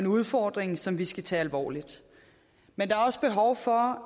udfordring som vi skal tage alvorligt men der er også behov for